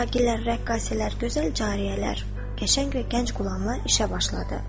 Saqillər, rəqqasələr, gözəl cariyələr, qəşəng və gənc qulamlar işə başladı.